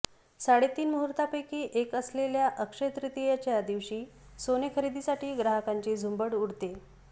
साडेतीन मुहूर्तापेकी एक असलेल्या अक्षय्य तृतीयेच्या दिवशी सोने खरेदीसाठी ग्राहकांची झुंबड उडते